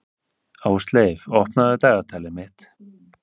Ásleif, opnaðu dagatalið mitt.